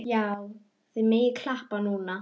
Já, þið megið klappa núna.